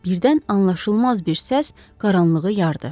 Birdən anlaşılmaz bir səs qaranlığı yardı.